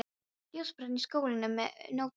Ljós brann í skálanum um nóttina.